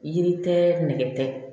Yiri tɛ nɛgɛ tɛ